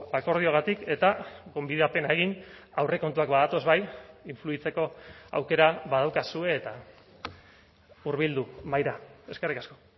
akordioagatik eta gonbidapena egin aurrekontuak badatoz bai influitzeko aukera badaukazue eta hurbildu mahaira eskerrik asko